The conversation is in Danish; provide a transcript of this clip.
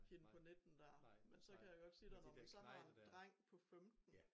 Hende på 19 dér men så kan jeg godt sige dig når man så har en dreng på 15